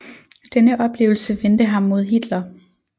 Denne oplevelse vendte ham imod Hitler